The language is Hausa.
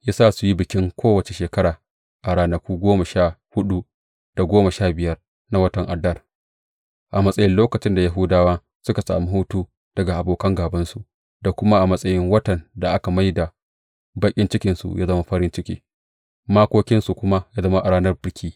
Ya sa su yi bikin kowace shekara a ranaku goma sha huɗu da goma sha biyar na watan Adar a matsayin lokacin da Yahudawa suka sami huta daga abokan gābansu, da kuma a matsayin watan da aka mai da baƙin cikinsu ya zama farin ciki, makokinsu kuma ya zama ranar biki.